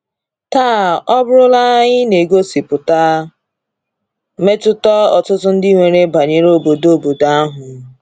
32. Taa, ọ bụrụla ihe na-egosipụta mmetụta ọtụtụ ndị nwere banyere obodo obodo ahụ.